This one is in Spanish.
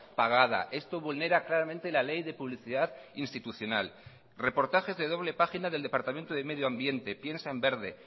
pagada esto vulnera claramente la ley de publicidad institucional reportajes de doble página del departamento de medio ambiente piensa en verde